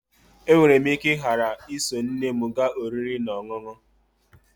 E nwere m ike ghara iso nne m gaa oriri na ọṅụṅụ